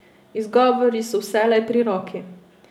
Izgovori so vselej pri roki.